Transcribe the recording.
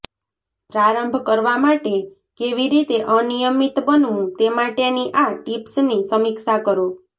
પ્રારંભ કરવા માટે કેવી રીતે અનિયમિત બનવું તે માટેની આ ટિપ્સની સમીક્ષા કરો